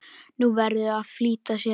Hún verður að flýta sér.